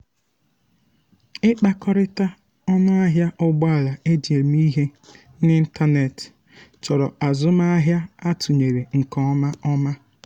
ịkpakọrịta ọnụ ahịa ụgbọala eji eme ihe n'ịntanetị chọrọ azụmahịa atụnyere nke ọma ọma